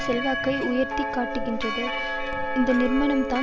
செல்வாக்கை உயர்த்தி காட்டுகிறது இந்த நிறுனம்தான்